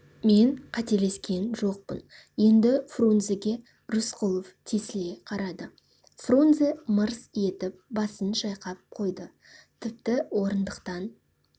мен қателескен жоқпын енді фрунзеге рысқұлов тесіле қарады фрунзе мырс етіп басын шайқап қойды тіпті орындықтан